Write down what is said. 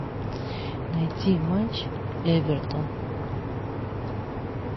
найди матч эвертон